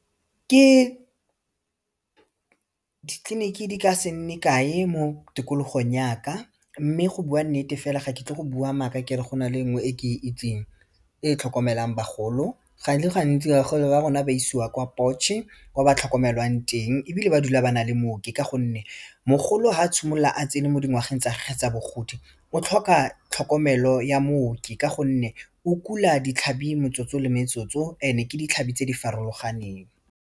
Ke ditleliniki di ka se nne kae mo tikologong yaka mme go bua nnete fela ga ketle go bua maaka kere go na le nngwe e ke itseng e tlhokomelang bagolo ga se gantsi bagolo ba rona ba isiwa kwa Potche-e kwa ba tlhokomelwang teng ebile ba dula ba nale mooki ka gonne mogolo ga a simolola a tsene mo dingwageng tsa gage tsa bogodi o tlhoka tlhokomelo ya mooki ka gonne o kula ditlhabi metsotso le metsotso and-e ke ditlhabi tse di farologaneng.